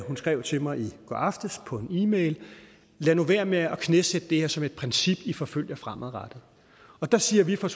hun skrev til mig i går aftes på en e mail lad nu være med at knæsætte det her som et princip i forfølger fremadrettet der siger vi fra